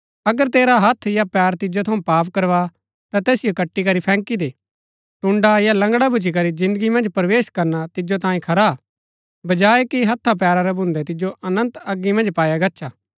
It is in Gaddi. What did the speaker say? अगर तेरा हत्थ या पैर तिजो थऊँ पाप करवा ता तैसिओ कटीकरी फैंकी दे टुण्ड़ा या लंगड़ा भूच्ची करी जिन्दगी मन्ज प्रवेश करणा तिजो तांयें खरा बजाय कि हत्था पैरा रै भून्दै तिजो अनन्त अगी मन्ज पाया गच्छा